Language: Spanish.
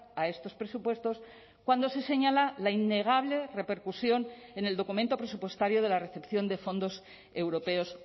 a estos presupuestos cuando se señala la innegable repercusión en el documento presupuestario de la recepción de fondos europeos